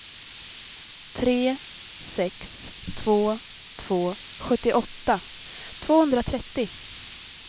tre sex två två sjuttioåtta tvåhundratrettio